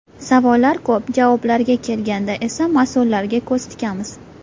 Savollar ko‘p, javoblarga kelganda esa mas’ullarga ko‘z tikamiz.